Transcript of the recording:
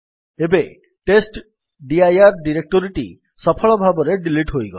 ଏବେ ଟେଷ୍ଟଡିର ଡିରେକ୍ଟୋରୀଟି ସଫଳ ଭାବରେ ଡିଲିଟ୍ ହୋଇଗଲା